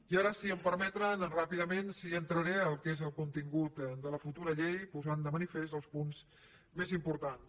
i ara si m’ho permeten ràpidament sí que entraré en el que és el contingut de la futura llei posant de manifest els punts més importants